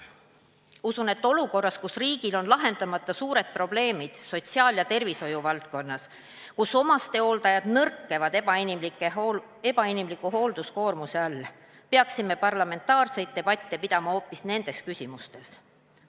Usun, et olukorras, kus riigil on lahendamata suured probleemid sotsiaal- ja tervishoiuvaldkonnas, kus omastehooldajad nõrkevad ebainimliku hoolduskoormuse all, peaksime parlamentaarseid debatte pidama hoopis nendes küsimustes.